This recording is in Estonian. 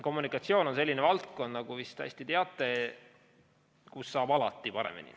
Kommunikatsioon on selline valdkond, nagu te vist hästi teate, kus saab alati paremini.